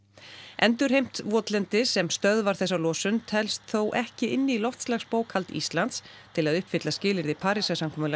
endurheimt votlendis sem stöðvar þessa losun telst þó ekki inn í loftslagsbókhald Íslands til að uppfylla skilyrði Parísarsamkomulagsins